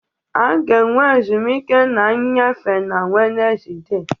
A ga-enwe ezumike na nnyefe na Wednesde